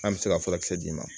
An bɛ se ka furakisɛ d'i ma